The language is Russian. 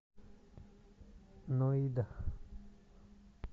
ноида